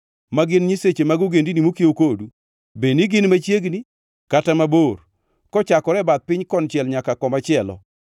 ma gin nyiseche mag ogendini mokiewo kodu, bed ni gin machiegni kata mabor, kochakore e bath piny konchiel nyaka komachielo);